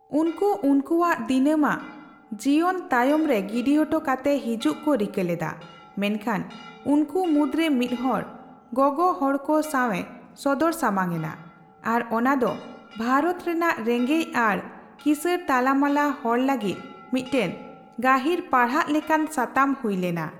ᱩᱱᱠᱩ ᱩᱱᱠᱩᱣᱟᱜ ᱫᱤᱱᱟᱹᱢᱟᱜ ᱡᱤᱣᱟᱱ ᱛᱟᱭᱚᱢᱨᱮ ᱜᱤᱰᱤᱚᱴᱚ ᱠᱟᱛᱮ ᱦᱤᱡᱩᱜ ᱠᱚ ᱨᱤᱠᱟᱹ ᱞᱮᱫᱟ, ᱢᱮᱱᱠᱷᱟᱱ ᱩᱱᱠᱩ ᱢᱩᱫᱨᱮ ᱢᱤᱫ ᱦᱚᱲ ᱜᱚᱜᱚᱦᱚᱲᱠᱚ ᱥᱟᱣᱮ ᱥᱚᱫᱚᱨ ᱥᱟᱢᱟᱝ ᱮᱱᱟ, ᱟᱨ ᱚᱱᱟ ᱫᱚ ᱵᱷᱟᱨᱚᱛ ᱨᱮᱱᱟᱜ ᱨᱮᱜᱮᱡ ᱟᱨ ᱠᱤᱥᱟᱹᱲ ᱛᱟᱞᱟᱢᱟᱞᱟ ᱦᱚᱲ ᱞᱟᱹᱜᱤᱫ ᱢᱤᱫᱴᱮᱱ ᱜᱟᱹᱦᱤᱨ ᱯᱟᱲᱦᱟᱜ ᱞᱮᱠᱟᱱ ᱥᱟᱛᱟᱢ ᱦᱩᱭ ᱞᱮᱱᱟ᱾